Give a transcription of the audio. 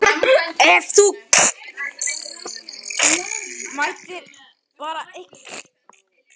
Ef þú mættir bæta eitthvað í deildinni, hvað væri það?